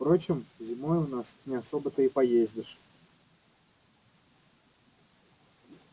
впрочем зимой у нас не особо-то и поездишь